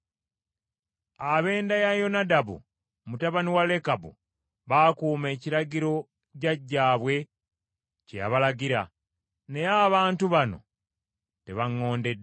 Ab’enda ya Yonadabu mutabani wa Lekabu baakuuma ekiragiro jjajjaabwe kye yabalagira, naye abantu bano tebaŋŋondedde.’